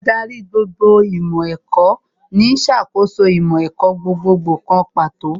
Ádárì gbogbo ìmọ̀ ẹ̀kọ́ ní ó ń ṣàkóso ìmọ̀ ẹ̀kọ́ gbogbogbò kan pàtó